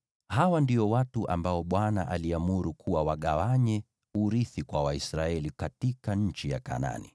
Hawa ndio watu ambao Bwana aliamuru wagawanye urithi kwa Waisraeli katika nchi ya Kanaani.